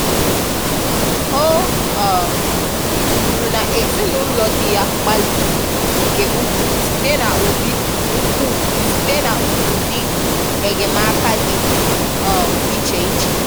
O um kwuru na ezinụlọ di ya gbalịrị nke ukwuu site n'ụdị ukwuu site n'ụdị enyemaka dị um iche iche